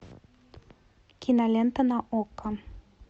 кинолента на окко